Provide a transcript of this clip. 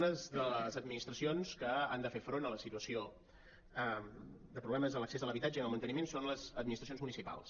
unes de les administracions que han de fer front a la situació de problemes en l’accés a l’habitatge i en el manteniment són les administracions municipals